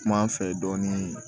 Kum'an fɛ dɔɔnin